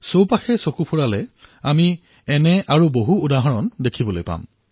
আমাৰ ওচৰেপাজৰে এনে বহু উদাহৰণ আমি দেখিবলৈ পাম